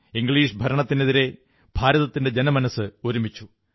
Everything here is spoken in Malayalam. ഇംഗ്ലീഷ് ഭരണത്തിനെതിരെ ഭാരതത്തിന്റെ ജനമനസ്സ് ഒരുമിച്ചു